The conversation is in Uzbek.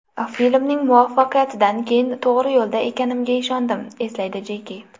Filmning muvaffaqiyatidan keyin to‘g‘ri yo‘lda ekanimga ishondim”, eslaydi Jeki.